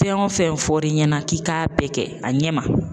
Fɛn o fɛn fɔr'i ɲɛnɛ k'i k'a bɛɛ kɛ a ɲɛ ma